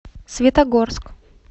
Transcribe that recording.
светогорск